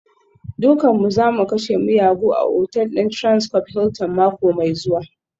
Dukanmu za mu kashe miyagu a otal ɗin Transcorp Hilton mako mai zuwa